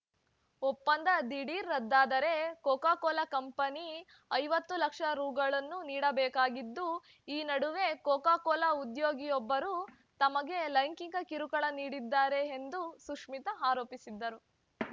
ಒಪ್ಪಂದ ದಿಢೀರ್‌ ರದ್ದಾದರೆ ಕೋಕಾ ಕೋಲಾ ಕಂಪನಿ ಐವತ್ತು ಲಕ್ಷ ರು ನೀಡಬೇಕಾಗಿದ್ದು ಈ ನಡುವೆ ಕೋಕಾ ಕೋಲಾ ಉದ್ಯೋಗಿಯೊಬ್ಬರು ತಮಗೆ ಲೈಂಗಿಕ ಕಿರುಕುಳ ನೀಡಿದ್ದಾರೆ ಎಂದು ಸುಶ್ಮಿತಾ ಆರೋಪಿಸಿದ್ದರು